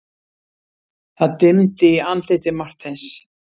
Það dimmdi í andliti Marteins.